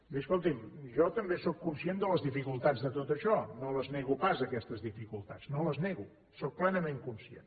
miri escolti’m jo també sóc conscient de les dificultats de tot això no les nego pas aquestes dificultats no les nego en sóc plenament conscient